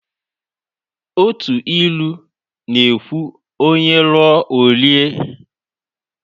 Otu ilu na ekwu"onye ruo o rie"